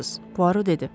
Puaro dedi.